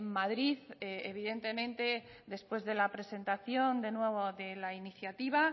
madrid evidentemente después de la presentación de nuevo de la iniciativa